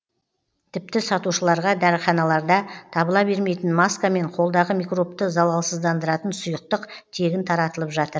тіпті сатушыларға дәріханаларда табыла бермейтін маска мен қолдағы микробты залалсыздандыратын сұйықтық тегін таратылып жатыр